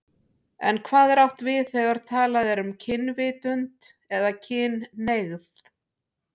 En hvað er átt við þegar talað er um kynvitund eða kynhneigð?